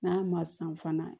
N'a ma san fana